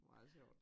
Meget sjovt